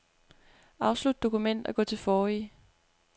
Afslut dokument og gå til forrige.